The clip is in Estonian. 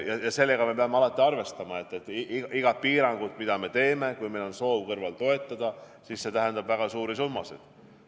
Ja sellega me peame alati arvestama, et iga piiranguga, mida me teeme, kui meil on soov samas toetada, siis see tähendab väga suuri summasid.